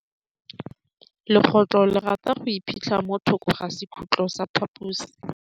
Legôtlô le rata go iphitlha mo thokô ga sekhutlo sa phaposi.